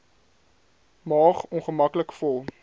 maag ongemaklik vol